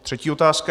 Třetí otázka.